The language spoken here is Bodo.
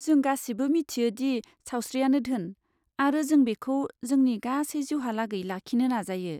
जों गासिबो मिथियो दि सावस्रिआनो धोन, आरो जों बेखौ जोंनि गासै जिउहालागै लाखिनो नाजायो।